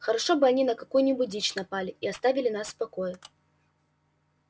хорошо бы они на какую нибудь дичь напали и оставили нас в покое